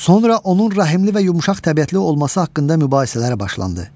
Sonra onun rəhimli və yumşaq təbiətli olması haqqında mübahisələr başlandı.